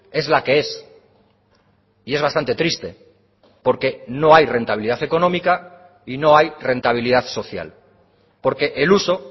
es la que es y es bastante triste porque no hay rentabilidad económica y no hay rentabilidad social porque el uso